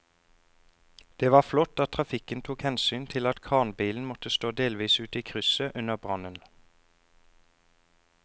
Det var flott at trafikken tok hensyn til at kranbilen måtte stå delvis ute i krysset under brannen.